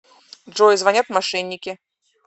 джой звонят мошенники